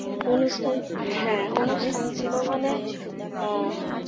অনুষ্ঠান হ্যাঁ অনুষ্ঠান ছিল মানে, আহ